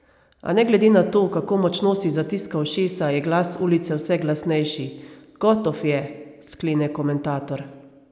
A ne glede na to, kako močno si zatiska ušesa, je glas ulice vse glasnejši: "Gotof je," sklene komentator.